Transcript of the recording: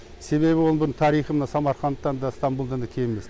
себебі оның тарихы самарқандтан да ыстамбұлдан да кем емес